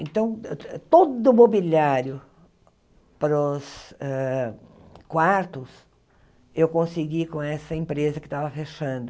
Então, todo o mobiliário para os hã quartos eu consegui com essa empresa que estava fechando.